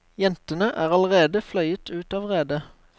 Jentene er allerede fløyet ut av redet.